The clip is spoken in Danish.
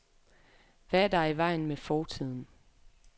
Hvad er der i vejen med fortiden?